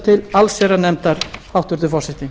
til allsherjarnefndar hæstvirtur forseti